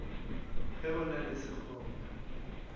ge go na le sekgoba